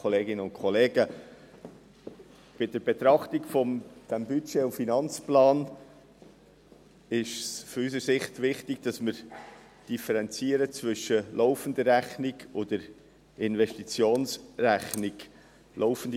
Bei der Betrachtung des Budgets und des Finanzplans ist aus unserer Sicht wichtig, dass wir zwischen der laufenden Rechnung und der Investitionsrechnung differenzieren.